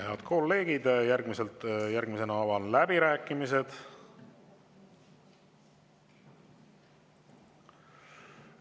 Head kolleegid, järgmisena avan läbirääkimised.